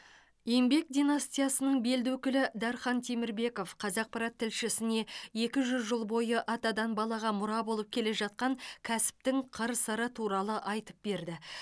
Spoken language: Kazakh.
еңбек династиясының белді өкілі дархан темірбеков қазақпарат тілшісіне екі жүз жыл бойы атадан балаға мұра болып келе жатқан кәсіптің қыр сыры туралы айтып берді